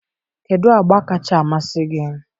kedụ agba kacha amasị gị?